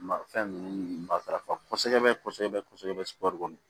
Ma fɛn ninnu matarafa kosɛbɛ kosɛbɛ kosɛbɛ subahana kɔnɔ